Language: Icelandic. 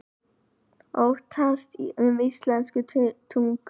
Óttast um íslenska tungu